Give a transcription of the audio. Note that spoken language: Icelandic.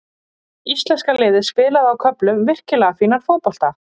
Íslenska liðið spilaði á köflum virkilega fínan fótbolta.